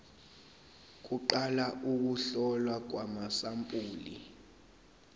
kuqala ukuhlolwa kwamasampuli